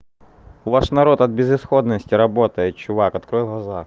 у вас народ от безысходности работает чувак открой глаза